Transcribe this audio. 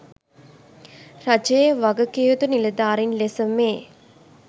රජයේ වගකිවයුතු නිලධාරීන් ලෙස මේ